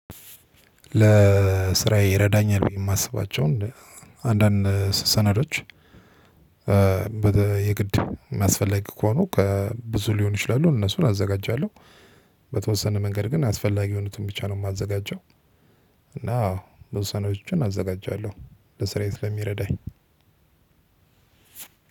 ለስራዬ ይረዳኛል ብዬ ማስባቸው አንዳንድ ሰነዶች። በተለይ የግድ አስፈላጊ ከሆኑ ብዙ ሊሆኑ ይችላሉ እነሱን አዘጋጃለው። በተወሰነ መንገድ ግን አስፈላጊ የሆኑትን ብቻ ነው የማዘጋጀው። እና ብዙ ሰነዶችን አዘጋጃለሁ ለስራዬ ስለሚረዳኝ።